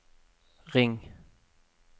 ring